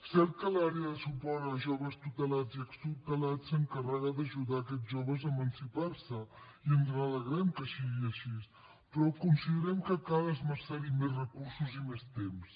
cert que l’àrea de suport a joves tutelats i extutelats s’encarrega d’ajudar aquests joves a emancipar se i ens n’alegrem que sigui així però considerem que cal esmerçar hi més recursos i més temps